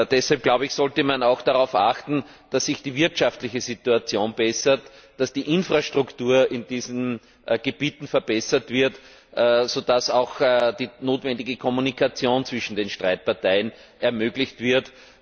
Deshalb sollte man auch darauf achten, dass sich die wirtschaftliche Situation bessert, dass die Infrastruktur in diesen Gebieten verbessert wird, so dass auch die notwendige Kommunikation zwischen den streitenden Parteien ermöglicht wird.